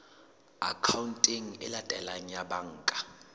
akhaonteng e latelang ya banka